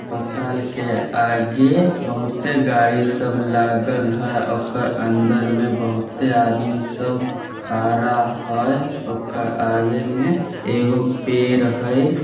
पताल के आगे बहुते गाड़ी सब लागल हई ओकर अंदर में बहुते आदमी सब खड़ा हई ओकर आगे में एगो पेड़ हई।